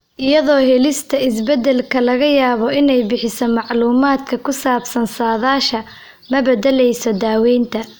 Iyadoo helista isbeddelka laga yaabo inay bixiso macluumaadka ku saabsan saadaasha, ma beddeleyso daaweynta.